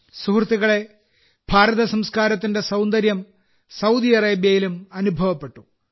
സുഹൃത്തുക്കളേ ഭാരതസംസ്കാരത്തിന്റെ സൌന്ദര്യം സൌദി അറേബ്യയിലും അനുഭവപ്പെട്ടു